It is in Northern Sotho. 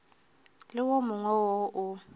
le wo mongwe wo o